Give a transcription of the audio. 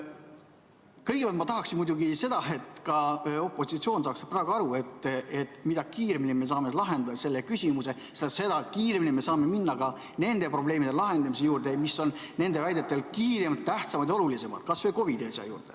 Kõigepealt ma tahaksin muidugi, et ka opositsioon saaks praegu aru, et mida kiiremini me saame lahendatud selle küsimuse, seda kiiremini me saame minna ka nende probleemide lahendamise juurde, mis on nende väitel kiiremad, tähtsamad ja olulisemad, kas või COVID‑i asja juurde.